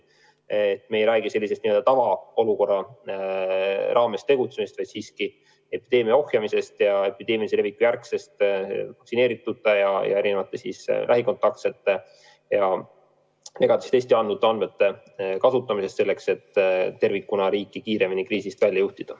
Me ei räägi tavaolukorras tegutsemisest, vaid epideemia ohjamisest ja epideemilise leviku järgsest vaktsineeritute, lähikontaktsete ja negatiivse testi andnute andmete kasutamisest selleks, et tervikuna riiki kiiremini kriisist välja juhtida.